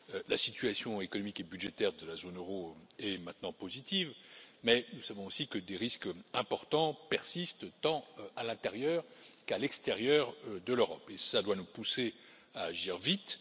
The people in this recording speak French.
La situation économique et budgétaire de la zone euro est maintenant positive, mais nous savons aussi que des risques importants persistent tant à l'intérieur qu'à l'extérieur de l'Europe, et cela doit nous pousser à agir vite.